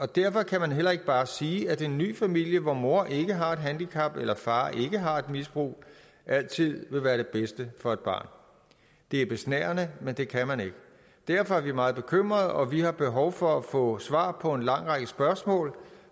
derfor kan man heller ikke bare sige at en ny familie hvor mor ikke har et handicap eller far ikke har et misbrug altid vil være det bedste for et barn det er besnærende men det kan man ikke derfor er vi meget bekymrede og vi har behov for at få svar på en lang række spørgsmål